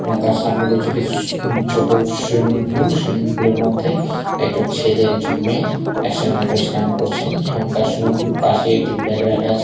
ও তার সামনে রয়েছে একটি সু-ছোট সুইমিং পুল সুইমিং পুলের মধ্যে একজন ছেলে একজন মেয়ে একসঙ্গে করে স্নান করছেন এবং তার সঙ্গে হলো পাশেই একটি ব্যাগ রাখা আছে।